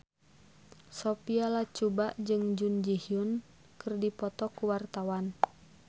Sophia Latjuba jeung Jun Ji Hyun keur dipoto ku wartawan